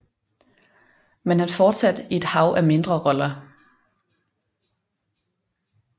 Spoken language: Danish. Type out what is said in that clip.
Men han fortsatte i et hav af mindre roller